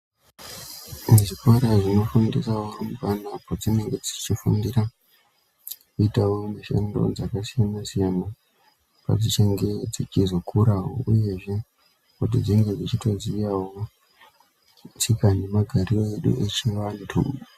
Muzvikora zvinofundisa varumbwana padzinenge dzichifundira kuitavo mishando dzakasiyana-siyana. Padzichange dzichizokuravo, uyezve kuti dzinge dzichitoziyavo tsika nemagariro edu echivantu.